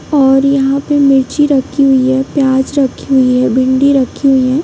और यहां पर मिर्ची रखी हुई हैं प्याज रखी हुई है भिंडी रखी हुई हैं।